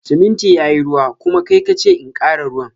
Siminti yayi ruwa, kuma kai kace in kara ruwan.